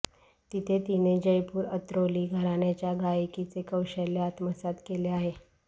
तिथे तिने जयपूर अत्रौली घराण्याच्या गायकीचे कौशल्य आत्मसात केले आहे